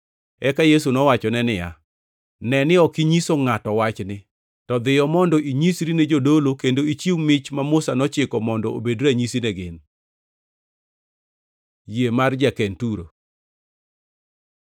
Eka Yesu nowachone niya, “Ne ni ok inyiso ngʼato wachni. To dhiyo mondo inyisri ne jadolo, kendo ichiw mich ma Musa nochiko, mondo obed ranyisi ne gin.” Yie mar ja-Kenturo